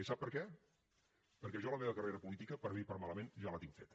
i sap per què perquè jo la meva carrera política per a bé o per a malament ja la tinc feta